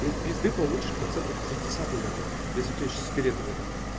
пизды получишь процентов шестьдесят наверное если у тебя ещё сигарет нету